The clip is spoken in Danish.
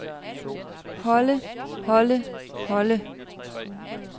holde holde holde